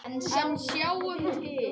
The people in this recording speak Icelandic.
En sjáum til.